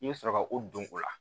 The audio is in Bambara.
I bɛ sɔrɔ ka o don o la